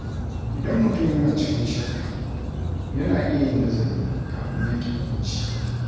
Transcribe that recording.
Idan mutum yana cikin shakka, yana iya yin nazari kafin yanke hukunci.